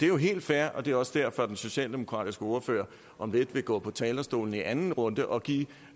jo helt fair og det er også derfor den socialdemokratiske ordfører om lidt vil gå på talerstolen i anden runde og give